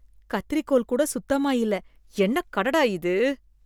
கத்திரிக்கோல் கூட சுத்தமா இல்ல என்ன கடடா இது.